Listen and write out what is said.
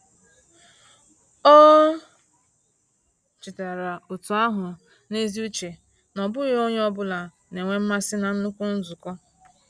Ọ chetaara otu ahụ n’ezi uche na ọ bụghị onye ọ bụla na-enwe mmasị na nnukwu nzukọ.